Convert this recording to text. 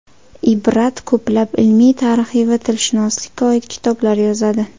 Ibrat ko‘plab ilmiy, tarixiy va tilshunoslikka oid kitoblar yozadi.